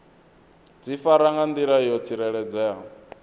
difara nga ndila yo tsireledzeaho